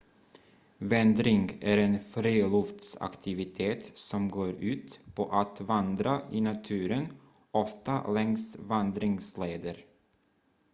vandring är en friluftsaktivitet som går ut på att vandra i naturen ofta längs vandringsleder